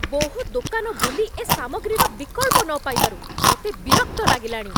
ବହୁ ଦୋକାନ ବୁଲି, ଏ ସାମଗ୍ରୀର ବିକଳ୍ପ ନ ପାଇବାରୁ ମୋତେ ବିରକ୍ତ ଲାଗିଲାଣି।